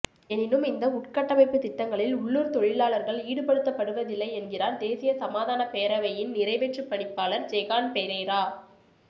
எனினும் இந்த உட்கட்டமைப்பு திட்டங்களில் உள்ளுர் தொழிலாளர்கள் ஈடுபடுத்தப்படுவதில்லை என்கிறார் தேசிய சமாதானப்பேரவையின் நிறைவேற்றுப்பணிப்பாளர் ஜெகான் பெரேரா